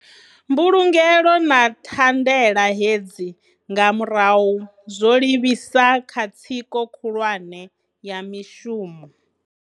Mbulungelo na tha ndela hedzi nga murahu zwo livhisa kha tsiko khulwane ya mishumo.